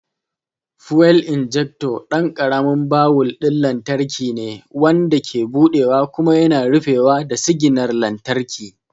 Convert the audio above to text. Fuel injector ɗan ƙaramin bawul ɗin lantarki ne, wanda ke buɗewa kuma yana rufewa da siginar lantarki.